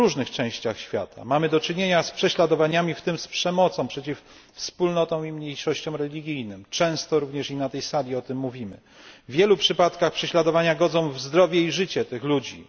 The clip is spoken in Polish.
W różnych częściach świata mamy do czynienia z prześladowaniami, w tym z przemocą przeciw wspólnotom i mniejszościom religijnym, często również i na tej sali o tym mówimy. W wielu przypadkach prześladowania godzą w zdrowie i życie tych ludzi.